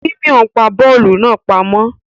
Simon pá bóòlù náà pàmò